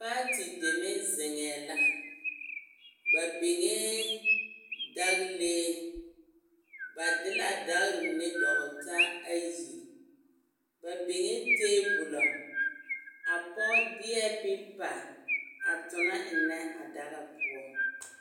Paati deme zeŋɛɛ la, ba biŋee dagilee, ba de la a dagiri mine dɔgele taa ayi, ba biŋee teebolo, a pɔge deɛ pepa a tona ennɛ a daga poɔ.